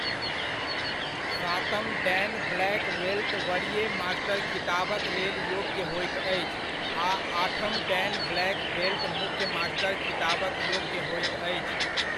सातम dan black belt वरीय master खिताबक लेल योग्य होइत अछि आ आठम डैन ब्लैक बेल्ट मुख्य मास्टर खिताबक योग्य होइत अछि।